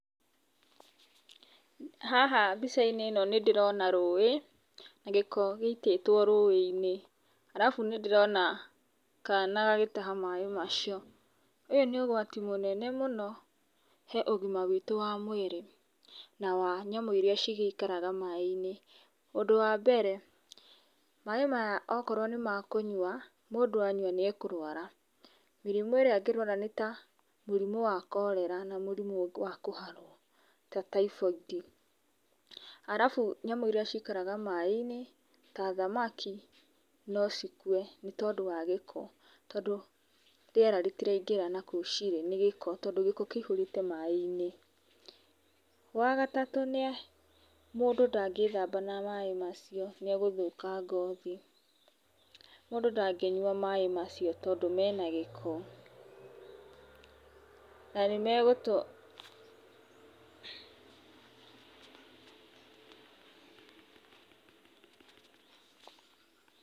Haha, mbica-inĩ ĩno nĩ ndĩrona rũĩ, gĩko gĩitĩtwo rũĩ-ini, arabu nĩndĩrona kana gagĩtaha maaĩ macio, ũyũ nĩ ũgwati mũnene mũno he ũgima witũ wa mũĩrĩ na wa nyamũ irĩa cigĩikaraga maaĩ-inĩ. Ũndũ wa mbere maaĩ maya okorwo nĩ makũnywa, mũndũ ayua nĩekũrwara, mĩrimũ ĩrĩa angĩrwara nĩ ta mũrimũ wa cholera na mũrimũ wa kũharwo ta typhoid, arabu nyamũ irĩa cikaraga maaĩ-inĩ ta thamaki no cikue, nĩ tondũ wa gĩko, tondũ rĩera rĩtiraingĩra na kũu cirĩ nĩũndũ wa gĩko, tondũ gĩko kĩihũrĩte maaĩ-inĩ. Wa gatatũ nĩ, mũndũ ndangĩthamba na maaĩ macio nĩegũthũka ngothi, mũndũ ndangĩyua maaĩ macio, tondũ me na gĩko, na nĩmegũtũ...